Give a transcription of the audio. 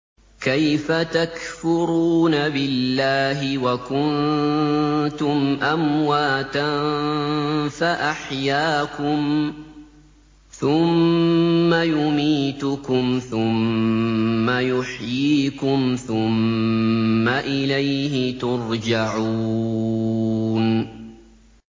كَيْفَ تَكْفُرُونَ بِاللَّهِ وَكُنتُمْ أَمْوَاتًا فَأَحْيَاكُمْ ۖ ثُمَّ يُمِيتُكُمْ ثُمَّ يُحْيِيكُمْ ثُمَّ إِلَيْهِ تُرْجَعُونَ